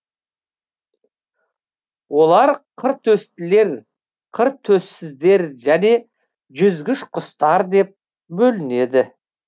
олар қыртөстілер қыртөссіздер және жүзгіш құстар деп бөлінеді